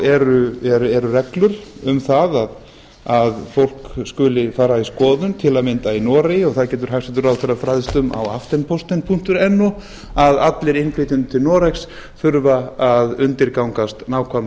eru reglur um það að fólk skuli fara í skoðun til að mynda í noregi og það getur hæstvirtur ráðherra fræðst um á aftenpostenno að allir innflytjendur til noregs þurfa að undirgangast nákvæma